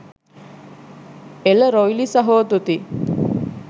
එල රොයිලි සහෝ තුති